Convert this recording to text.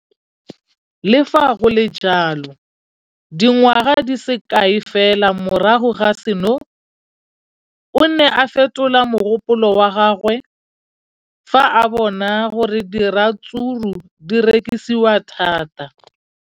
Le fa go le jalo, dingwaga di se kae fela morago ga seno, o ne a fetola mogopolo wa gagwe fa a bona gore diratsuru di rekisiwa thata.